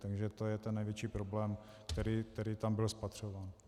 Takže to je ten největší problém, který tam byl spatřován.